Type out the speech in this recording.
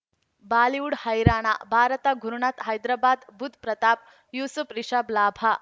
Bollywood ಹೈರಾಣ ಭಾರತ ಗುರುನಾಥ ಹೈದರಾಬಾದ್ ಬುಧ್ ಪ್ರತಾಪ್ ಯೂಸುಫ್ ರಿಷಬ್ ಲಾಭ